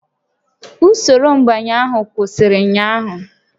Usoro nbanye ahụ kwụsịrị ụnyaahụ